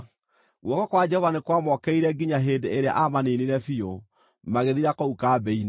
Guoko kwa Jehova nĩ kwamokĩrĩire nginya hĩndĩ ĩrĩa aamaniinire biũ, magĩthira kũu kambĩ-inĩ.